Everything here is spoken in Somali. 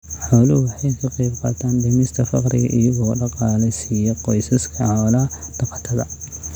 Xooluhu waxay ka qaybqaataan dhimista faqriga iyagoo dhaqaale siiya qoysaska xoola dhaqatada.